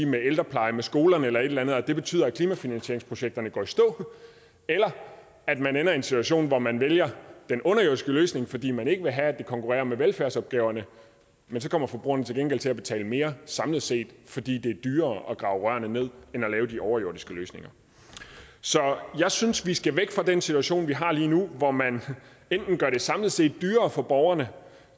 med ældrepleje med skoler eller eller andet og det betyder at klimafinansieringsprojekterne går i stå eller at man ender i en situation hvor man vælger den underjordiske løsning fordi man ikke vil have at det konkurrerer med velfærdsopgaverne men så kommer forbrugeren til gengæld til at betale mere samlet set fordi det er dyrere at grave rørene ned end at lave de overjordiske løsninger så jeg synes vi skal væk fra den situation vi har lige nu hvor man enten gør det samlet set dyrere for borgerne